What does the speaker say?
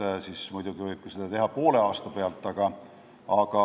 Kui nii, siis muidugi võib seda teha ka poole aasta pealt.